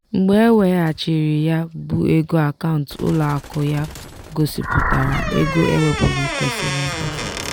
"mgbe e weghachiri ya bụ ego akaụntụ ụlọakụ ya gosipụtara ego ewepụrụ kwesịrị ekwesị"